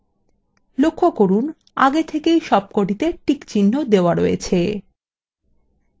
লক্ষ্য করুন আগে থেকেই সবকটিতে টিক চিহ্ন দেওয়া রয়েছে